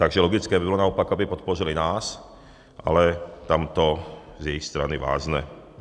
Takže logické by bylo naopak, aby podpořily nás, ale tam to z jejich strany vázne.